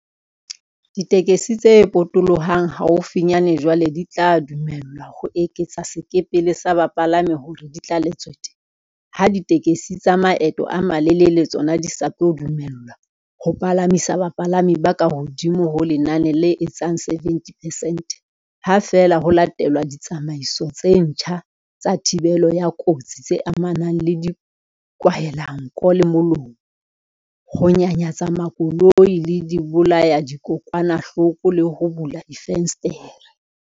Ditekesi tse potolohang haufinyane jwale di tla dumellwa ho eketsa sekepele sa bapalami hore di tlale tswete, ha ditekesi tsa maeto a malelele tsona di sa tlo dumellwa ho palamisa bapalami ba kahodimo ho lenane le etsang 70 percent ha feela ho latelwa ditsamaiso tse ntjha tsa thibelo ya kotsi tse amanang le dikwahelanko le molomo, ho nyanyatsa makoloi ka dibolayadikokwanahloko le ho bula difenstere.